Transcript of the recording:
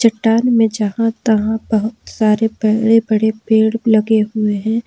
चट्टान जहां तहां बहुत सारे बड़े बड़े पेड़ लगे हुए हैं।